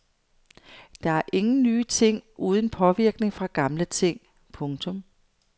Der er ingen nye ting uden påvirkning fra gamle ting. punktum